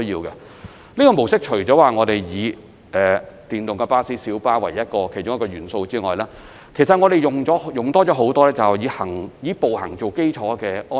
此系統除了採用電動巴士和小巴作為其中一個元素之外，其實我們亦增加了很多以步行為基礎的安排。